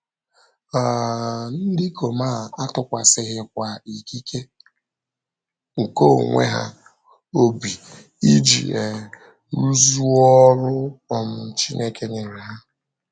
um Ndị ikom a atụkwasịghịkwa ikike nke onwe ha obi iji um rụzuo ọrụ um Chineke nyere ha.